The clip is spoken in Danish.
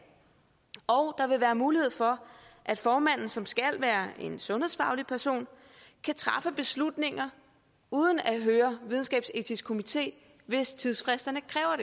og der vil være mulighed for at formanden som skal være en sundhedsfaglig person kan træffe beslutninger uden at høre videnskabsetiske komité hvis tidsfristerne kræver